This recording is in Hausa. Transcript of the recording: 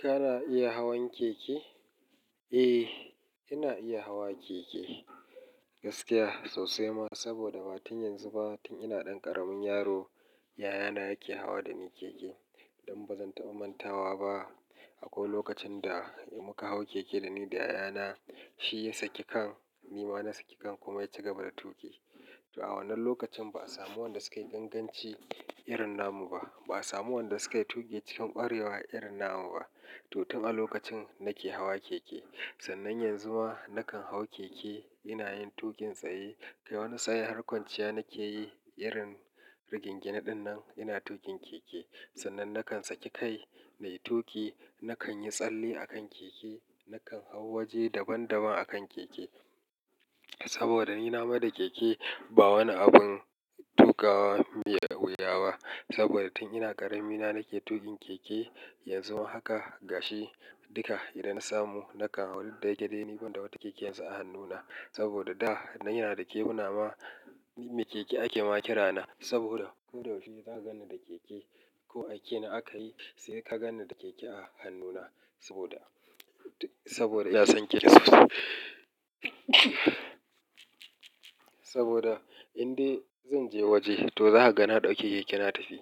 Kana iya hawan keke? Eh, ina iya hawa keke gaskiya sosai ma saboda ba tun yanzu ba tun ina ɗan ƙaramin yaro yayana yake hawa dani keke. Don bazan taɓa mantawa ba akwai lokacin da muka hau keke dani da yayana shi ya saki kan ni ma na saki kan kuma ya ci gaba da tuƙi. To a wannan lokacin ba'a samu wanda sukayi ganganci irin na mu ba ba'a samu wanda sukayi tuƙi cikin ƙwarewa irin na mu ba. To tun a lokacin nake hawa keke sannan yanzu ma nakan hau keke ina yin tuƙin tsaye. Kai wani tsaye ha kwanciya nakeyi irin rigingye na dinnan ina tuƙin keke sannan nakan saki kai nayi tuƙi nakan yi tsalle a kan keke nakan hau waje daban daban a kan keke. Saboda ni na meda keke ba wani abun tuƙawa miya da wuya ba saboda tun ina ƙarami na nake tuƙin keke yanzu ma haka gashi duka idan na samu nakan hau duk da ya ke dai ni banda wata keke yanzu a hannuna. Saboda da ina da keɓuna ma me keke ake ma kirana saboda ko da wani za gana da keke ko a kenan aka yi sai ka gane da keke a hannuna saboda saboda in dai zan je waje to za ka gane da keke na tafi